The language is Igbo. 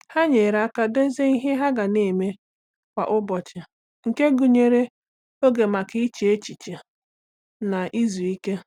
Ha nyere aka dozie ihe ha ga na-eme kwa ụbọchị nke gụnyere oge maka iche echiche na izu ike.